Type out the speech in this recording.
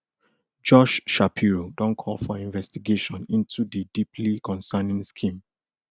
josh shapiro don call for investigation into di deeply concerning scheme